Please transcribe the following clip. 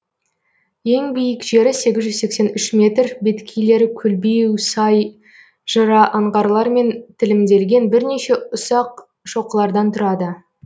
ең биік жері сегіз жүз сексен үш метр беткейлері көлбеу сай жыра аңғарлармен тілімделген бірнеше ұсақ шоқылардан тұрады